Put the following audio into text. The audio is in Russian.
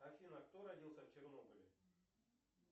афина кто родился в чернобыле